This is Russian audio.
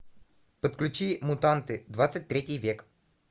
подключи мутанты двадцать третий век